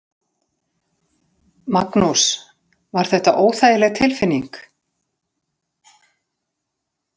Magnús: Var þetta óþægileg tilfinning?